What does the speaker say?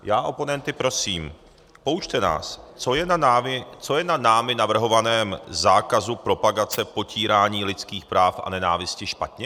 Já oponenty prosím: Poučte nás, co je na námi navrhovaném zákazu propagace potírání lidských práv a nenávisti špatně!